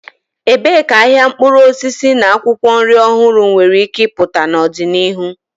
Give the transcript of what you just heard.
Ebee ka ahịa mkpụrụ osisi na akwụkwọ nri ọhụrụ nwere ike ịpụta n'ọdịnihu?